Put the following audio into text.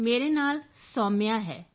ਮੇਰੇ ਨਾਲ ਸੋਮਿਯਾ ਹੈ